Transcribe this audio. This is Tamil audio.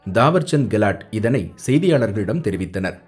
தாவர்சந்த் கெலாட் இதனை செய்தியாளர்களிடம் தெரிவித்தனர்.